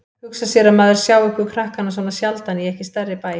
Hugsa sér að maður sjái ykkur krakkana svona sjaldan í ekki stærri bæ.